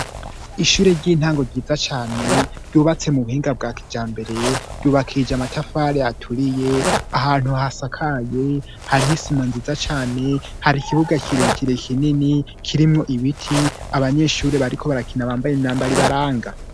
ishure ry'intango ryiza cane ryubatse mu buhinga bwa kijambere ryubakije amatafari aturiye ahantu hasakaye hariho isima nziza cane hari ikibuga kirekire kinini kirimwo ibiti abanyeshuri bariko barakina bambaye imyambaro ibaranga